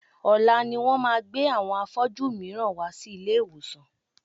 Ọ̀la ni wọ́n máa gbé àwọn afọ́jú mìíràn wá sí ilé ìwòsàn.